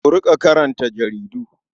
Ku riƙa karanta jaridu.